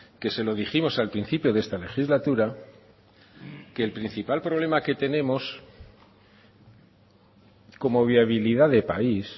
que se lo dijimos al principio de esta legislatura que el principal problema que tenemos como viabilidad de país